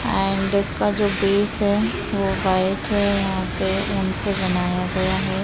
And इसका जो base है वो व्हाइट है यहाँ पे ऊन से बनाया गया हैं।